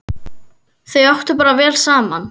Þau áttu bara vel saman!